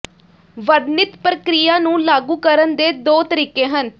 ਵਰਣਿਤ ਪ੍ਰਕਿਰਿਆ ਨੂੰ ਲਾਗੂ ਕਰਨ ਦੇ ਦੋ ਤਰੀਕੇ ਹਨ